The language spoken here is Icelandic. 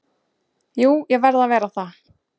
Jú ég verð að vera það.